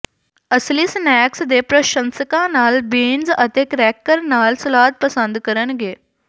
ਅਸਲੀ ਸਨੈਕਸ ਦੇ ਪ੍ਰਸ਼ੰਸਕਾਂ ਲਾਲ ਬੀਨਜ਼ ਅਤੇ ਕਰੈਕਰ ਨਾਲ ਸਲਾਦ ਪਸੰਦ ਕਰਨਗੇ